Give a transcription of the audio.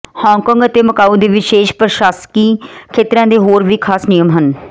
Hong Kong ਅਤੇ Macau ਦੇ ਵਿਸ਼ੇਸ਼ ਪ੍ਰਸ਼ਾਸਕੀ ਖੇਤਰਾਂ ਦੇ ਹੋਰ ਵੀ ਖਾਸ ਨਿਯਮ ਹਨ